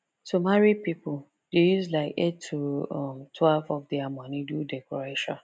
to marry people dey use like eight to um twelve of dia money do decoration